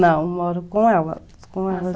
Não, eu moro com ela. Com ela.